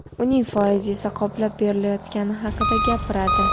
uning foizi esa qoplab berilayotgani haqida gapiradi.